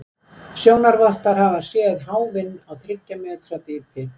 Sjónarvottar hafa séð háfinn á þriggja metra dýpi.